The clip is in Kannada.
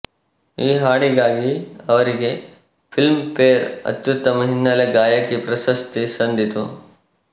ಈ ಹಾಡಿಗಾಗಿ ಅವರಿಗೆ ಫಿಲಂಫೇರ್ ಅತ್ಯುತ್ತಮ ಹಿನ್ನೆಲೆ ಗಾಯಕಿ ಪ್ರಶಸ್ತಿ ಸಂದಿತು